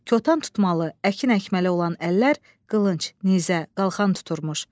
Kotan tutmalı, əkin əkməli olan əllər qılınc, nizə, qalxan tuturmuş.